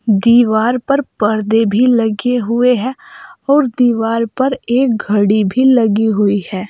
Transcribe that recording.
दीवार पर पर्दे भी लगे हुए हैं और दीवार पर एक घड़ी भी लगी हुई है।